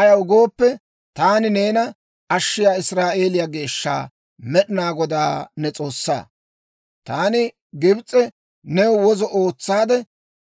Ayaw gooppe, taani neena Ashshiyaa Israa'eeliyaa Geeshsha, Med'inaa Godaa ne S'oossaa. Taani Gibs'e new wozo ootsaade,